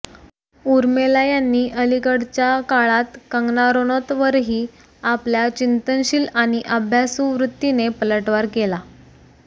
उर्मिला यांनी अलिकडच्या काळात कंगना रनौतवरही आपल्या चिंतनशील आणि अभ्यासू वृत्तीने पलटवार केला